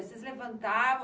Vocês levantavam?